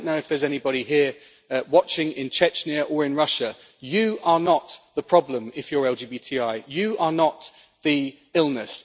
I do not know if there is anybody here watching in Chechnya or in Russia, but you are not the problem if you are LGBTI you are not the illness.